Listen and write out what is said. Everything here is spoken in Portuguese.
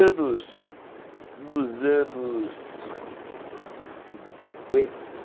Ah, é... Nos anos... Nos anos... cinquenta